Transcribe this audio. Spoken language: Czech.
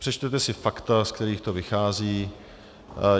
Přečtete si fakta, z kterých to vychází.